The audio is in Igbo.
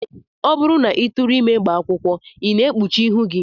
Ọ bụrụ na ị tụrụghị ime gbaa akwụkwọ, I na-ekpuchi ihu gị